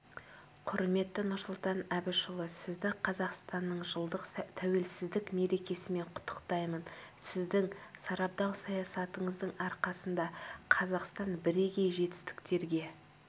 құрметті нұрсұлтан әбішұлы сізді қазақстанның жылдық тәуелсіздік мерекесімен құттықтаймын сіздің сарабдал саясатыңыздың арқасында қазақстан бірегей жетістіктерге